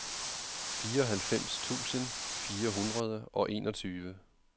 fireoghalvfems tusind fire hundrede og enogtyve